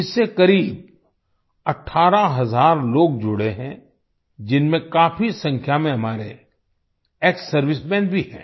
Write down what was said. इससे करीब 18 हजार लोग जुड़े हैं जिनमें काफी संख्या में हमारे एक्ससर्विसमें भी हैं